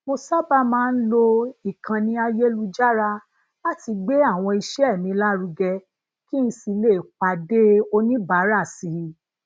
mo sábà máa ń lo ìkànnì ayelujara láti gbé àwọn iṣẹ mi lárugẹ kí n sì lè pade oníbàárà si